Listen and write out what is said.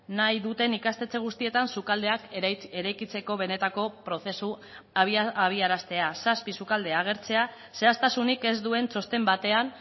nahi duten ikastetxe guztietan sukaldeak eraikitzeko benetako prozesua abiaraztea zazpi sukalde agertzea zehaztasunik ez duen txosten batean